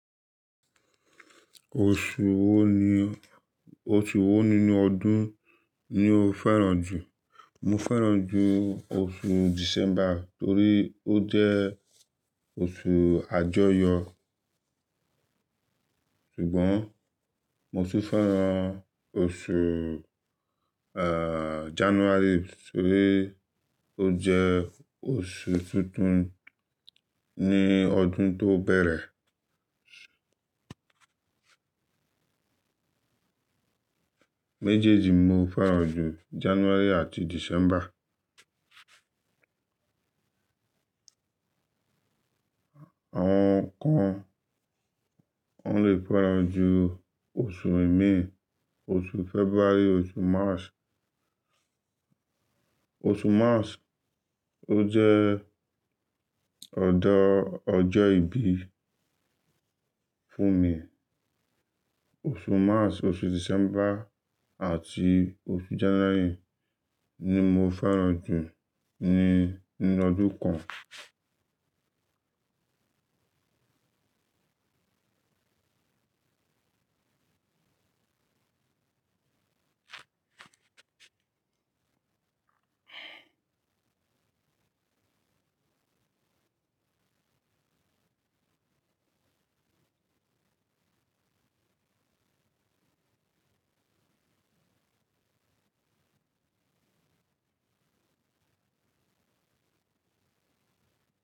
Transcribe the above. Oṣù wo ni, oṣù wo nínú ọdún ni o fẹ́ràn jù? Mo fẹ́ràn jù oṣù December torí ó jẹ́ oṣù àjọyọ̀. Ṣùgbọ́n mo sì fẹ́ràn oṣù, eh, January torí ó jẹ́ oṣù tuntun ní ọdún tó bẹ̀rẹ̀. Méjèèjì mo fẹ́ràn jù, January àti December. Àwọn kan, wọ́n le fẹ́ràn jù oṣù ẹ̀mí, oṣù February, oṣù March. Oṣù March ó jẹ́ ọ̀dọ̀ ọjọ́ ìbí fún mi. Oṣù March, oṣù December àti oṣù January ni mo fẹ́ràn jù ní, nínú ọdún kan.